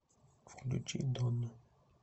включи доно